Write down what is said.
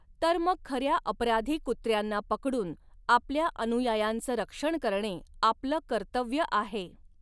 तर मग खर्या अपराधी कुत्र्यांना पकडून आपल्या अनुयायांचं रक्षण करणे आपलं कर्तव्य आहे.